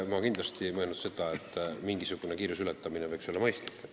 Ma kindlasti ei mõelnud seda, et mingisugune kiiruseületamine võiks olla mõistlik.